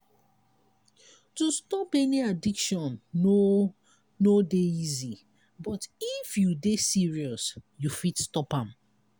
to stop any addiction no no dey easy but if you dey serious you fit stop.